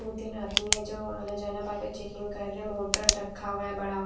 वो तीन आदमी है जो आना जाना चेकिंग कर रहे हैं मोटर रखा हुआ है बड़ा वा--